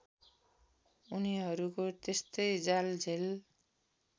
उनीहरूको त्यस्तै जालझेल